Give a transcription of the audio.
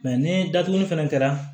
Mɛ ni datuguli fɛnɛ kɛra